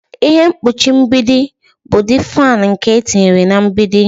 Ihe mkpuchi mgbidi bụ ụdị fan nke etinyere na mgbidi.